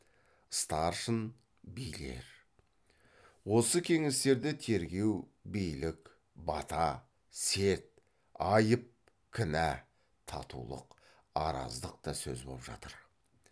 старшын билер осы кеңестерде тергеу билік бата серт айып кінә татулық араздық та сөз боп жатыр